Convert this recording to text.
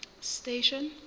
station